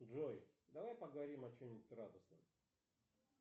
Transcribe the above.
джой давай поговорим о чем нибудь радостном